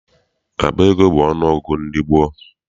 Akpa ego bụ ọnụ ọgụgụ ndị gboo.